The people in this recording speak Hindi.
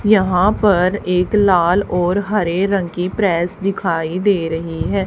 यहां पर एक लाल और हरे रंग की प्रेस दिखाई दे रही है।